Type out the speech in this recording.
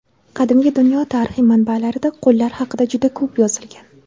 Qadimgi dunyo tarixi manbalarida qullar haqida juda ko‘p yozilgan.